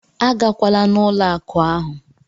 A gakwala n'ụlọ akụ ahụ!